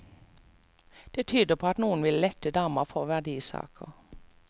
Det tyder på at noen ville lette dama for verdisaker.